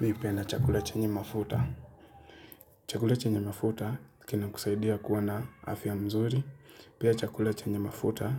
Mihupenda chakula chenye mafuta Chakula chenye mafuta kina kusaidia kuwa na afya mzuri Pia chakula chenye mafuta